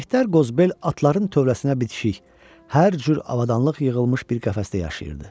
Mehdər Qozbel atların tövləsinə bitişik hər cür avadanlıq yığılmış bir qəfəsdə yaşayırdı.